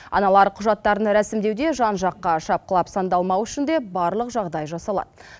аналар құжаттарын рәсімдеуде жан жаққа шапқылап сандалмау үшін де барлық жағдай жасалады